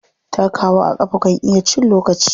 Takawa a ƙafa kan iya cin lokaci.